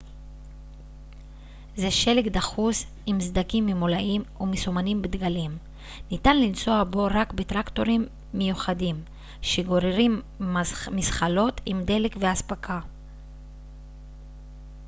זה שלג דחוס עם סדקים ממולאים ומסומנים בדגלים ניתן לנסוע בו רק בטרקטורים מיוחדים שגוררים מזחלות עם דלק ואספקה